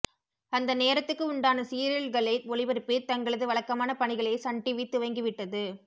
அந்த நேரத்துக்கு உண்டான சீரியல்களை ஒளிபரப்பி தங்களது வழக்கமான பணிகளை சன் டிவி துவங்கிவிட்டது